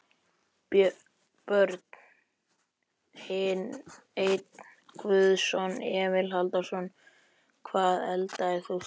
Börn: Einn guðson Emil Halldórsson.Hvað eldaðir þú síðast?